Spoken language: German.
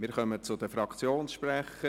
Wir kommen zu den Fraktionssprechern.